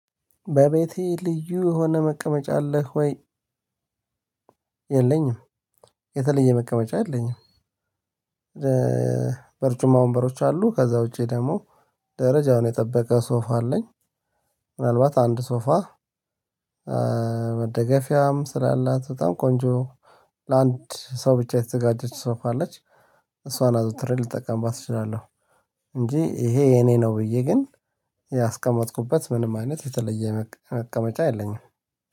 በቤቴ ልዩ የሆነ መቀመጫ አለህ ወይ? የለኝም የተለየ መቀመጫ የለኝም። በርጩማ ወንበሮች አሉ ከዛ ውጪ ደግሞ ደረጃውን የጠበቀ ሶፋ አለኝ። ምናልባት አንድ ሶፋ መደገፊያም ስላላት በጣም ቆንጆ ለአንድ ሰው ብቻ የተዘጋጀች ሶፋ አለች። እሷን አዘውትሬ ልጠቀምባት እችላለሁ። እንጂ ይሄ የኔ ነው ብዬ ግን ያስቀመጥኩበት ምንም አይነት የተለየ መቀመጫ የለኝም።